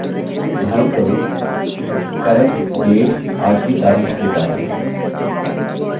उदाहरणस्वरुप current _ date आज की तारिख date है